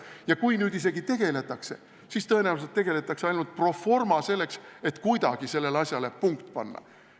Ja kui nüüd isegi tegeletakse, siis tõenäoliselt tegeletakse ainult pro forma, selleks et kuidagi sellele asjale punkt panna.